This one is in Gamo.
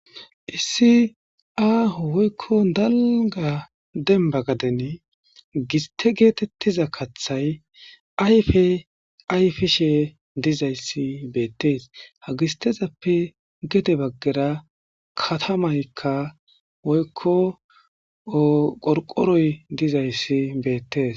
issi aho woykkon dalga demba gaden giste geetettiza kathay ayfe ayifishe dizayssi beettees hagistezappe gede baggera katamaykka woykko qorqoroy dizayssi beettes